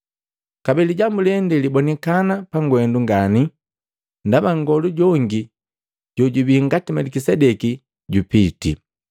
Kabee lijambu lende libonikana pangwendu ngani; ndaba nngolu jongi jojubii ngati Melikisedeki jupitii.